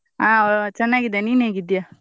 ಆ ಚೆನ್ನಾಗಿದ್ದೇನೆ ನೀನ್ ಹೇಗ್ಇದ್ದೀಯ?